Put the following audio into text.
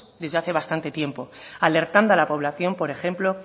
desde hace bastante tiempo alertando a la población por ejemplo